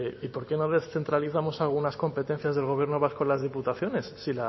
y por qué una vez centralizamos algunas competencias del gobierno vasco las diputaciones